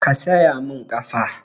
Ka saya mun ƙafa!